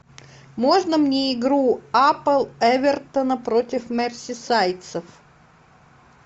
можно мне игру апл эвертона против мерсисайдцев